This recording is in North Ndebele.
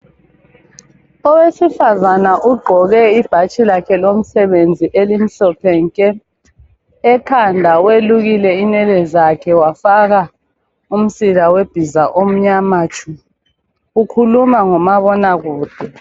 Owesifazana ugqoke ibhatshi lakhe lomsebenzi elimhlophe nke, ekhanda welukile inwele zakhe wafaka umsila webhiza omnyama tshu ukhuluma ngoma bona kude.